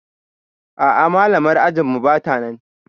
A'a malamar ajinmu batanan